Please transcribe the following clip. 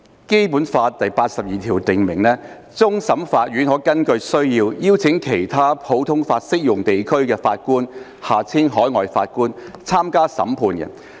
《基本法》第八十二條訂明，終審法院可根據需要，邀請其他普通法適用地區的法官參加審判。